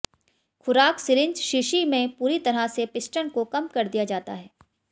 खुराक सिरिंज शीशी में पूरी तरह से पिस्टन को कम कर दिया जाता है